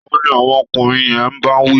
Taá ni àwọn ọkùnrin yẹn ń bá wí?